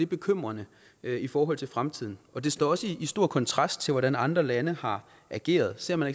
bekymrende i forhold til fremtiden og det står også i stor kontrast til hvordan andre lande har ageret ser man